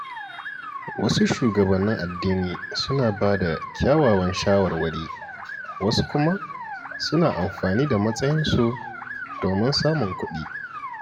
Wasu shugabannin addini suna bada kyawawan shawarwari, wasu kuma suna amfani da matsayinsu domin samun kuɗi.